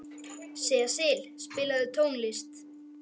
Sesil, spilaðu tónlist.